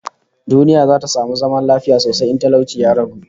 Duniya za ta samu zaman lafiya sosai in talauci ya ragu